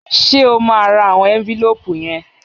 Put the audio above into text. Ṣé o máa ra àwọn ẹ́ńfílóòpù yẹn?